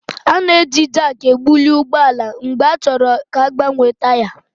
A na-eji Jaakị ebuli ụgbọ ala mgbe a chọrọ ka a gbanwee taya